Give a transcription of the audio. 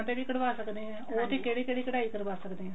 ਉਹ੍ਤੇ ਵੀ ਕਢਵਾ ਸਕਦੇ ਹਾਂ ਉਹ੍ਤੇ ਕਿਹੜੀ ਕਿਹੜੀ ਕਢਾਈ ਕਰਵਾ ਕਦੇ ਹਾਂ